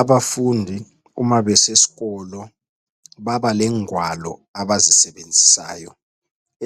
Abafundi uma besesikolo babalengwalo abazisebenzisayo